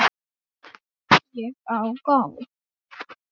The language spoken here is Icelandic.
Bara gleði og hlátur.